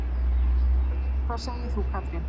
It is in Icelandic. Þorbjörn: Hvað segir þú Katrín?